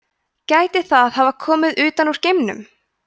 gæti það hafa komið utan úr geimnum